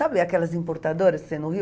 Sabe aquelas importadoras